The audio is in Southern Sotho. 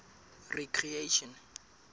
recreation